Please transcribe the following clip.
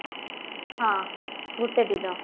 ହଁ ଗୋଟେ ଦିନ